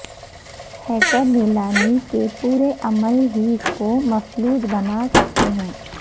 hacker نیلامی کے پورے عمل ہی کو مفلوج بنا سکتے ہیں